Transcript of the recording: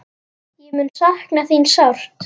Ég mun sakna þín sárt.